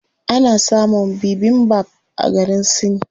Ana samun bibimbap a garin Sin.